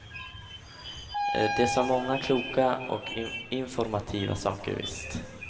De sa många kloka och informativa saker, visst.